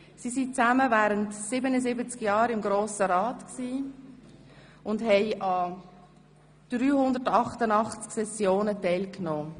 Insgesamt waren sie zusammen während 77 Jahren im Grossen Rat und nahmen an 388 Sessionen teil.